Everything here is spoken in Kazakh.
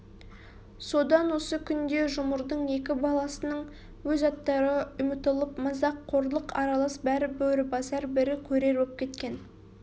содан осы күнде жұмырдың екі баласының өз аттары үмытылып мазақ қорлық аралас бірі бөрібасар бірі көрер боп кеткен